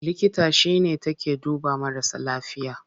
Likita shi ne take duba marasa lafiya.